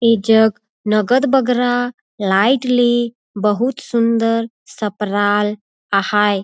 ऐ जग नगतबगरा लाइट ले बहुत सुन्दर सप्राये आहाए --